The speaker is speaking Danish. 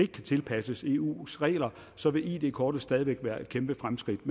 kan tilpasses eus regler så vil id kortet stadig væk være et kæmpe fremskridt